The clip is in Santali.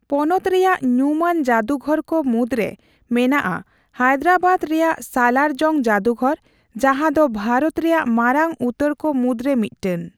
ᱯᱚᱱᱚᱛ ᱨᱮᱭᱟᱜ ᱧᱩᱢᱟᱱ ᱡᱟᱹᱫᱩᱜᱷᱚᱨ ᱠᱚ ᱢᱩᱫᱽᱨᱮ ᱢᱮᱱᱟᱜᱼᱟ ᱦᱟᱭᱫᱨᱟᱵᱟᱫ ᱨᱮᱭᱟᱜ ᱥᱟᱞᱟᱨ ᱡᱚᱝ ᱡᱟᱫᱩᱜᱷᱚᱨ, ᱡᱟᱦᱟᱸ ᱫᱚ ᱵᱷᱟᱨᱚᱛ ᱨᱮᱭᱟᱜ ᱢᱟᱨᱟᱝ ᱩᱛᱟᱹᱨ ᱠᱚ ᱢᱩᱫᱽᱨᱮ ᱢᱤᱫᱴᱮᱱ ᱾